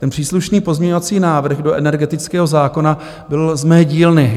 Ten příslušný pozměňovací návrh do energetického zákona byl z mé dílny.